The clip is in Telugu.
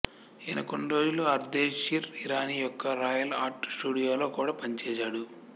ఈయన కొన్ని రోజులు అర్దేషిర్ ఇరానీ యొక్క రాయల్ ఆర్ట్ స్టూడియోలో కూడా పనిచేశాడు